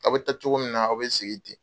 A bɛ ta cogo min na, a bɛ sigi ten.